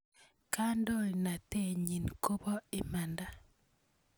Kandoinatet nyi ko po imanda.